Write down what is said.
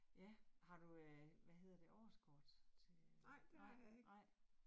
Ja, har du øh hvad hedder det årskort til. Nej nej